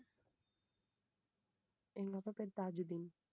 எங்க அப்பா பேர் தாஜுதீன்.